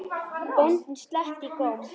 Bóndinn sletti í góm.